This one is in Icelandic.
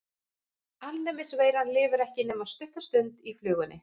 Alnæmisveiran lifir ekki nema stutta stund í flugunni.